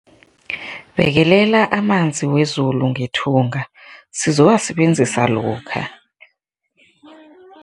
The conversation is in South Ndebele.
Bekelela amanzi wezulu ngethunga sizowasebenzisa lokha.